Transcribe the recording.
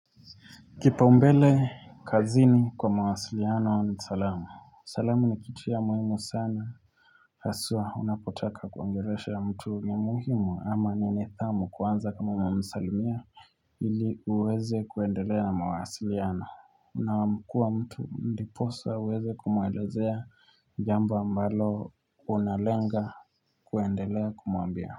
Kipa umbele kazini kwa mawasiliano ni salama Salamu ni kiti ya muhimu sana Haswa unapotaka kuongeleshea mtu ni muhimu ama ni nithamu kuanza kama umemsalimia ili uweze kuendelea na mawasiliano Unamkua mtu ndiposa uweze kumuelezea jambo ambalo unalenga kuendelea kumuambia.